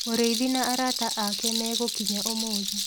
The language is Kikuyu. Mũrĩithi na arata ake megũkinya ũmũthĩ.